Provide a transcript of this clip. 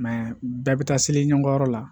bɛɛ bɛ taa seli ɲɔgɔn yɔrɔ la